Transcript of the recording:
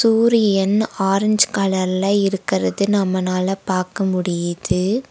சூரியன் ஆரஞ்சு கலர்ல இருக்கிறது நம்மனால பாக்க முடிது.